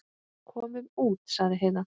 Komum út, sagði Heiða.